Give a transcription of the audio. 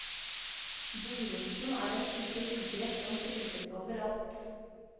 Buroten er en type ugress som trives overalt.